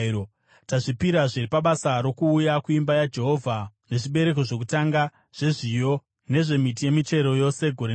“Tazvipirazve pabasa rokuuya kuimba yaJehovha nezvibereko zvokutanga zvezviyo nezvemiti yemichero yose gore negore.